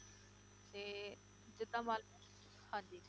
ਤੇ ਜਿੱਦਾਂ ਹਾਂਜੀ